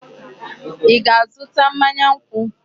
Ị ga-azụta mmanya nkwụ?